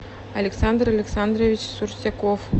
александр александрович сурсяков